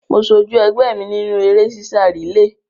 Mo sojú ẹgbẹ́ mi nínú eré sísá rìléè.